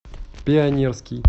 пионерский